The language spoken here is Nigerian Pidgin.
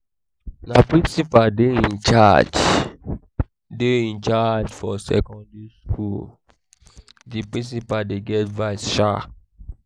na principal dey dey in-charge dey dey in-charge for secondary skool di principal dey get vice shaa.